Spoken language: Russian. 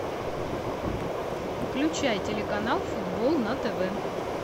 включай телеканал футбол на тв